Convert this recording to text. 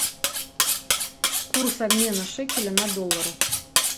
курс обмена шекеля на доллары